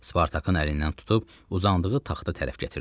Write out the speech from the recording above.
Spartakın əlindən tutub uzandığı taxta tərəf gətirdi.